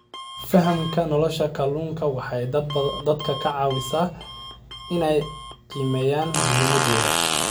Fahamka nolosha kalluunka waxay dadka ka caawisaa inay qiimeeyaan muhiimadooda.